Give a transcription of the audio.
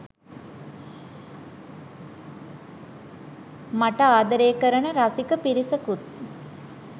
මට ආදරේ කරන රසික පිරිසකුත්